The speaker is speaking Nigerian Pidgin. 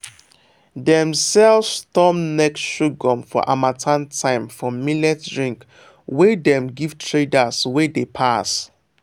dem sell storm neck sorghum for harmattan time for millet drink wey dem give traders wey dey pass.